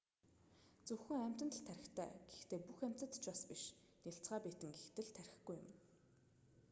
зөвхөн амьтанд л тархитай гэхдээ бүх амьтад ч бас биш: нялцгай биетэн гэхэд л тархигүй юм.